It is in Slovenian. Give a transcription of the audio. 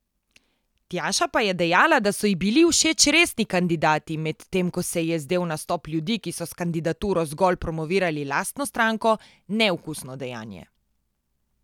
Tjaša pa je dejala, da so ji bili všeč resni kandidati, medtem ko se ji je zdel nastop ljudi, ki so s kandidaturo zgolj promovirali lastno stranko neokusno dejanje.